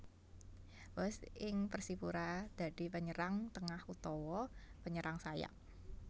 Boaz ing Persipura dadi penyerang tengah utawa penyerang sayap